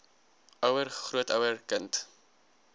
ouer grootouer kind